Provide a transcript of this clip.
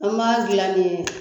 An m'a dilan min ye